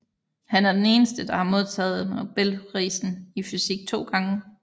Han er den eneste der har modtaget Nobelprisen i fysik to gange